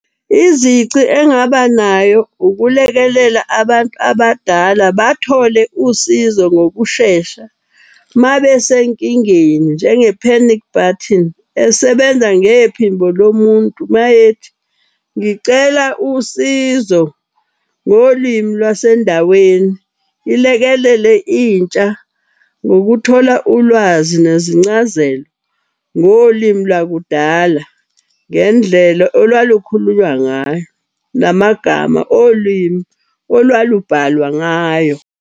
Izici engaba nayo, ukulekelela abantu abadala bathole usizo ngokushesha mabesenkingeni njenge-panic button. Esebenza ngephimbo lo muntu mayethi, ngicela usizo ngolwimi lwasendaweni. Ilekelele intsha ngokuthola ulwazi nezincazelo ngolimi lwakudala, ngendlela olwalukhulunywa ngayo. Namagama olimi olwalubhalwa ngayo.